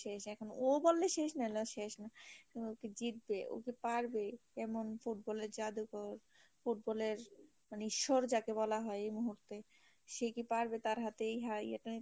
এখন ও বলে শেষ নাহলে আর শেষ না ও কি জিতবে ও কি পারবে এমন football এর জাদুকর football এর মানে ঈশ্বর জেক বলা হয় এই মুহূর্তে সে কি পারবে তার হাতে এই হয়